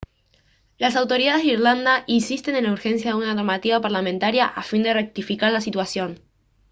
las autoridades de irlanda insisten en la urgencia de una normativa parlamentaria a fin de rectificar la situación